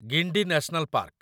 Guindy national park